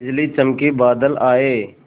बिजली चमकी बादल आए